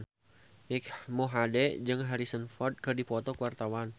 Mike Mohede jeung Harrison Ford keur dipoto ku wartawan